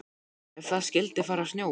Ef það skyldi fara að snjóa.